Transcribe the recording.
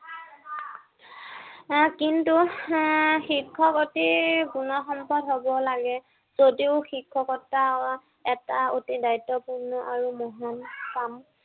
এৰ কিন্তু এৰ শিক্ষক অতি গুণসম্পন্ন হব লাগে। যদিও শিক্ষকতা এটা অতি দায়িত্বপূৰ্ণ আৰু মহান কাম।